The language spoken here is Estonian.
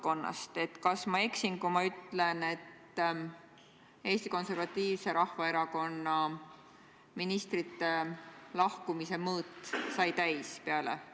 Punkt üks, ma olen seda kogu aeg öelnud, et minu arvates teeb prokuratuur oma tööd ja teeb seda professionaalselt.